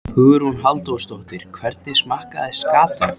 Hugrún Halldórsdóttir: Hvernig smakkast skatan?